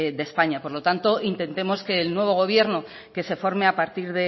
de españa por lo tanto intentemos que el nuevo gobierno que se forme a partir